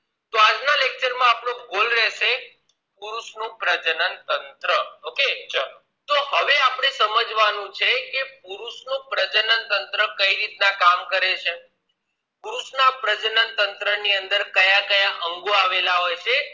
પુરુષ નું પ્રજનન તંત્ર okay હવે આપણે સમજવાનું છે કે પુરુષ નું પ્રજનન તંત્ર કેવી રીતે કામ કરે છે પુરુષ ના પ્રજનન તંત્ર ની અંદર કયા કયા અંગો આવેલ હોય છે